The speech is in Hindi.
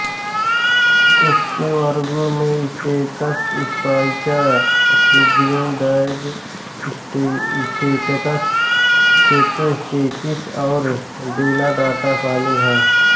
उसके वर्गों में स्टेकस स्पाइका सुब्नुडाए प्टेरोस्टेकस शेतोस्टेकिस और डेनटाटा शामिल हैं